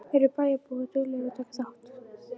Eru bæjarbúar duglegir að taka þátt?